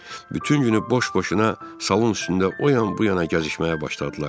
Bütün günü boş-boşuna salon üstündə o yan-bu yana gəzişməyə başladılar.